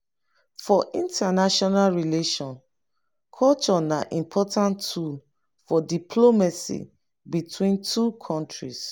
for international relation culture na important tool for diplomacy between two countries